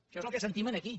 això és el que sentim aquí